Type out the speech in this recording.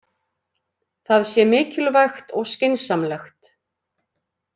Það sé mikilvægt og skynsamlegt